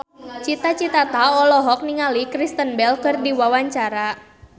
Cita Citata olohok ningali Kristen Bell keur diwawancara